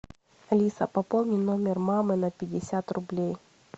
алиса пополни номер мамы на пятьдесят рублей